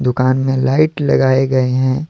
दुकान में लाइट लगाएं गए हैं।